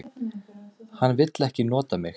Hann vill ekki nota mig.